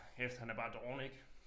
Efter han er bare doven ik